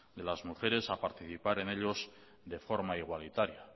de las mujeres a participar en ellos de forma igualitaria